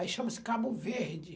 Aí chama-se cabo verde.